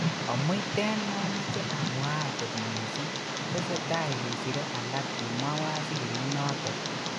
Omuiten momoche amuak kot missing tesetai kesire alak kimwa waziri inoton.